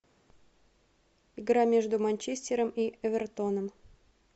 игра между манчестером и эвертоном